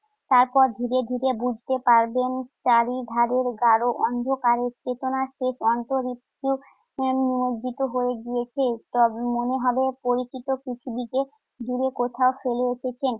তারপর ধীরে ধীরে বুঝতে পারবেন চারিধারের গাঢ় অন্ধকারের চেতনার শেষ অংশ নিমজ্জিত হয়ে গিয়েছে। তবে মনে হবে পরিচিত কিছুদিকে দূরে কোথাও ফেলে এসেছেন।